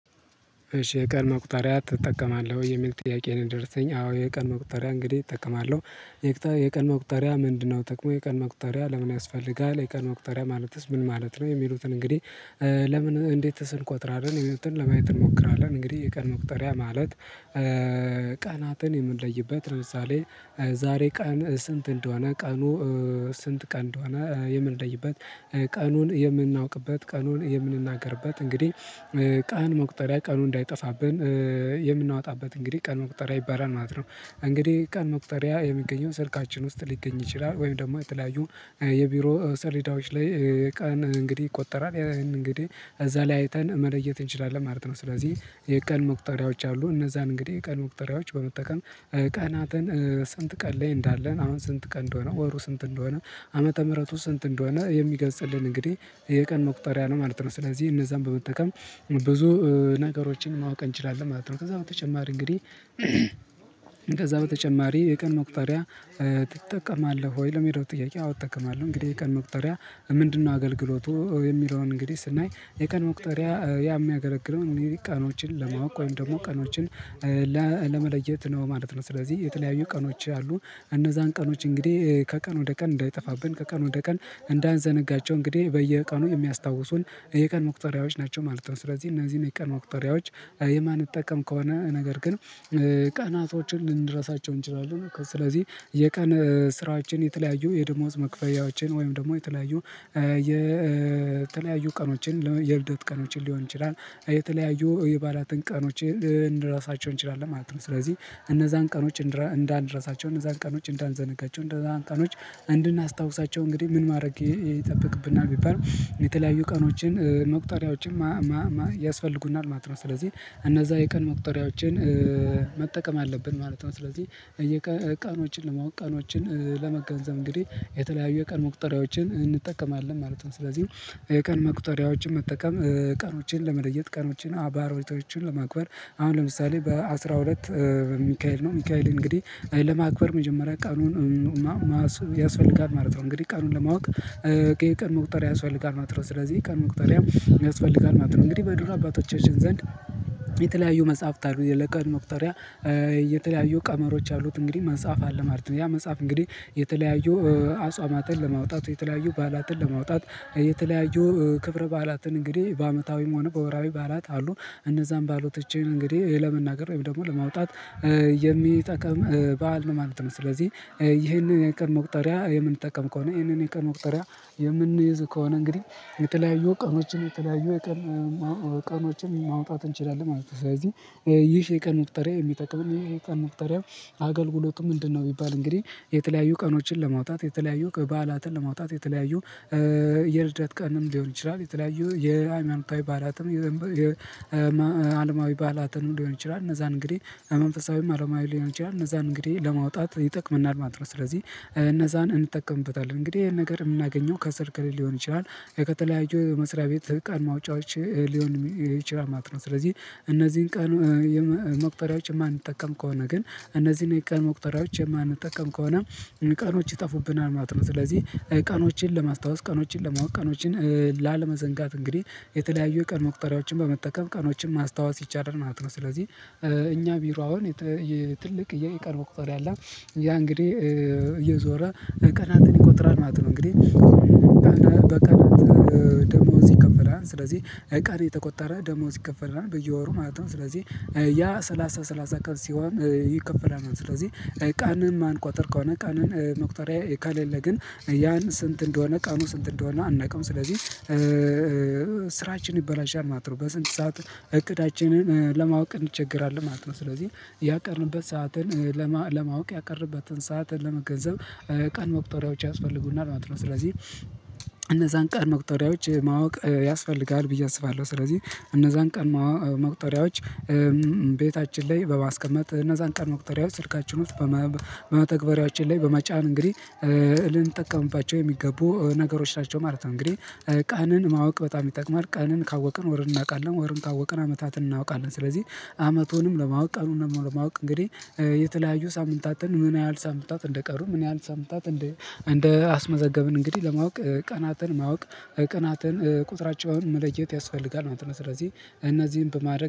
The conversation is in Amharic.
እሺ የቀን መቁጠሪያ ትጠቀማለህ ወይ የሚል ጥያቄ ነው? የደረሰኝ አዎ የቀን መቁጠሪያ እንግዲህ እጠቀማለሁ። የቀን መቁጠሪያ ምንድነው ጥቅሙ የቀን መቁጠሪያ ለምን ያስፈልጋል የቀን መቁጠሪያ ማለትስ ምን ማለት ነው? የሚሉትን እንግዲህ ለምን እንዴትስ እንቆጥራለን የሚሉትን ለማየት እንሞክራለን። እንግዲህ የቀን መቁጠሪያ ማለት ቀናትን የምንለይበት ለምሳሌ ዛሬ ቀን ስንት እንደሆነ ቀኑ ስንት ቀን እንደሆነ የምንለይበት ቀኑን የምናውቅበት ቀኑን የምንናገርበት እንግዲህ ቀን መቁጠሪያ ቀኑ እንዳይጠፋብን የምናወጣበት እንግዲህ ቀን መቁጠሪያ ይባላል ማለት ነው። እንግዲህ ቀን መቁጠሪያ የሚገኘው ስልካችን ውስጥ ሊገኝ ይችላል ወይም ደግሞ የተለያዩ የቢሮ ሰሌዳዎች ላይ ቀን እንግዲህ ይቆጠራል ያን እንግዲህ እዛ ላይ አይተን መለየት እንችላለን ማለት ነው። ስለዚህ የቀን መቁጠሪያዎች አሉ እነዛን እንግዲህ የቀን መቁጠሪያዎች በመጠቀም ቀናትን ስንት ቀን ላይ እንዳለን አሁን ስንት ቀን እንደሆነ ወሩ ስንት እንደሆነ ዓመተ ምህረቱ ስንት እንደሆነ የሚገልጽልን እንግዲህ የቀን መቁጠሪያ ነው ማለት ነው። ስለዚህ እነዛን በመጠቀም ብዙ ነገሮችን ማወቅ እንችላለን ማለት ነው። ከዛ በተጨማሪ እንግዲህ ከዛ በተጨማሪ የቀን መቁጠሪያ ትጠቀማለህ ወይ? ለሚለው ጥያቄ አዎ እጠቀማለሁ እንግዲህ የቀን መቁጠሪያ ምንድነው አገልግሎቱ የሚለውን እንግዲህ ስናይ የቀን መቁጠሪያ ያም ያገለግለው ቀኖችን ለማወቅ ወይም ደግሞ ቀኖችን ለመለየት ነው ማለት ነው። ስለዚህ የተለያዩ ቀኖች አሉ እነዛን ቀኖች እንግዲህ ከቀን ወደ ቀን እንዳይጠፋብን ከቀን ወደ ቀን እንዳንዘነጋቸው እንግዲህ በየቀኑ የሚያስታውሱን የቀን መቁጠሪያዎች ናቸው ማለት ነው። ስለዚህ እነዚህን የቀን መቁጠሪያዎች የማንጠቀም ከሆነ ነገር ግን ቀናቶችን ልንረሳቸው እንችላለን። ስለዚህ የቀን ስራዎችን የተለያዩ የደሞዝ መክፈያዎችን ወይም ደግሞ የተለያዩ የተለያዩ ቀኖችን የልደት ቀኖችን ሊሆን ይችላል የተለያዩ የበአላትን ቀኖች ልንረሳቸው እንችላለን ማለት ነው። ስለዚህ እነዛን ቀኖች እንዳንረሳቸው እነዛን ቀኖች እንዳንዘነጋቸው እነዛን ቀኖች እንድናስታውሳቸው እንግዲህ ምን ማድረግ ይጠብቅብናል ቢባል የተለያዩ ቀኖችን መቁጠሪያዎችን ያስፈልጉናል ማለት ነው። ስለዚህ እነዛ የቀን መቁጠሪያዎችን መጠቀም አለብን ማለት ነው። ስለዚህ የቀኖችን ለማወቅ ቀኖችን ለመገንዘብ እንግዲህ የተለያዩ የቀን መቁጠሪያዎችን እንጠቀማለን ማለት ነው። ስለዚህ የቀን መቁጠሪያዎችን መጠቀም ቀኖችን ለመለየት ቀኖችን በዓላቶችን ለማክበር አሁን ለምሳሌ በአስራ ሁለት ሚካኤል ነው ሚካኤል እንግዲህ ለማክበር መጀመሪያ ቀኑን ማሰብ ያስፈልጋል ማለት ነው እንግዲህ ቀኑን ለማወቅ የቀን መቁጠሪያ ያስፈልጋል ማለት ነው። ስለዚህ የቀን መቁጠሪያ ያስፈልጋል ማለት ነው እንግዲህ በድሮ አባቶቻችን ዘንድ የተለያዩ መጽሐፍት አሉ ለቀን መቁጠሪያ የተለያዩ ቀመሮች አሉት እንግዲህ መጽሐፍ አለ ማለት ነው ያ መጽሐፍ እንግዲህ የተለያዩ አጽዋማትን ለማውጣት የተለያዩ በዓላትን ለማውጣት የተለያዩ ክብረ በዓላትን እንግዲህ በአመታዊም ሆነ በወርሃዊ በዓላት አሉ እነዛም በዓላቶች እንግዲህ ለመናገር ወይም ደግሞ ለማውጣት የሚጠቅም በዓል ነው ማለት ነው። ስለዚህ ይሄንን የቀን መቁጠሪያ የምንጠቀም ከሆነ ይሄንን የቀን መቁጠሪያ የምንይዝ ከሆነ እንግዲህ የተለያዩ ቀኖችን የተለያዩ የቀን ቀኖችን ማውጣት እንችላለን ማለት ነው። ስለዚህ ይህ የቀን መቁጠሪያ የሚጠቅመን ይህ የቀን መቁጠሪያ አገልግሎቱ ምንድነው? ቢባል እንግዲህ የተለያዩ ቀኖችን ለማውጣት የተለያዩ በዓላትን ለማውጣት የተለያዩ የልደት ቀንም ሊሆን ይችላል የተለያዩ የሃይማኖታዊ ባአላትም የአለማዊ ባላትም ሊሆን ይችላል እነዛን እንግዲህ መንፈሳዊም አለማዊ ሊሆን ይችላል እነዛን እንግዲህ ለማውጣት ይጠቅመናል ማጥረስ ነው ስለዚህ እነዛን እንጠቀምበታለን እንግዲህ ይሄን ነገር የምናገኘው ከስልክ ሊሆን ይችላል። ከተለያዩ የመስሪያ ቤት ቀን ማውጫዎች ሊሆን ይችላል ማለት ነው ስለዚህ እነዚህን ቀን መቁጠሪያዎች የማንጠቀም ከሆነ ግን እነዚህን የቀን መቁጠሪያዎች የማንጠቀም ከሆነ ቀኖች ይጠፉብናል ማለት ነው። ስለዚህ ቀኖችን ለማስታወስ ቀኖችን ለማወቅ ቀኖችን ላለመዘንጋት እንግዲህ የተለያዩ የቀን መቁጠሪያዎችን በመጠቀም ቀኖችን ማስታወስ ይቻላል ማለት ነው። ስለዚህ እኛ ቢሮ አሁን ትልቅ የቀን መቁጠርያ አለ ያ እንግዲህ እየዞረ ቀናትን ይቆጥራል ማለት ነው። እንግዲህ በቀናት ደሞዝ ይከፈላል ስለዚህ ቀሪ የተቆጠረ ደሞዝ ይከፈላል በየወሩ ማለት ነው። ስለዚህ ያ ሰላሳ ሰላሳ ቀን ሲሆን ይከፈላል። ስለዚህ ቀንን ማንቋጠር ከሆነ ቀንን መቁጠሪያ ከሌለ ግን ያን ስንት እንደሆነ ቀኑ ስንት እንደሆነ አናውቅም ስለዚህ ስራችን ይበላሻል ማለት ነው። በስንት ሰዓት እቅዳችንን ለማወቅ እንቸገራለን ማለት ነው። ስለዚህ ያቀድንበት ሰዓትን ለማወቅ ያቀድንበትን ሰዓትን ለመገንዘብ ቀን መቁጠሪያዎች ያስፈልጉናል ማለት ነው። ስለዚህ እነዛን ቀን መቁጠሪያዎች ማወቅ ያስፈልጋል ብዬ አስባለሁ ስለዚህ እነዛን ቀን መቁጠሪያዎች ቤታችን ላይ በማስቀመጥ እነዛን ቀን መቁጠሪያ ስልካችን ውስጥ በመተግበሪያችን ላይ በመጫን እንግዲህ ልንጠቀምባቸው የሚገቡ ነገሮች ናቸው ማለት ነው። እንግዲህ ቀንን ማወቅ በጣም ይጠቅማል። ቀንን ካወቅን ወር እናውቃለን ወርን ካወቅን አመታትን እናውቃለን። ስለዚህ አመቱንም ለማወቅ ቀኑንም ለማወቅ እንግዲህ የተለያዩ ሳምንታትን ምን ያህል ሳምንታት እንደቀሩ ምን ያህል ሳምንታት እንደ እንደ አስመዘገብን እንግዲህ ለማወቅ ቀናትን ማወቅ ቀናትን ቁጥራቸው መለየት ያስፈልጋል ማለት ነው። ስለዚህ እነዚህን በማድረግ